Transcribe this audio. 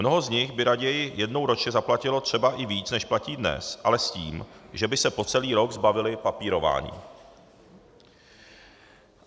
Mnoho z nich by raději jednou ročně zaplatilo třeba i víc, než platí dnes, ale s tím, že by se po celý rok zbavili papírování.